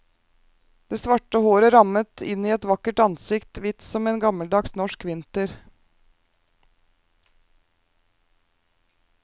Det svarte håret rammet inn et vakkert ansikt, hvitt som en gammeldags norsk vinter.